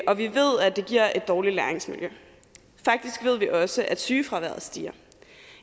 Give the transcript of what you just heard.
og vi ved at det giver et dårligt læringsmiljø faktisk ved vi også at sygefraværet stiger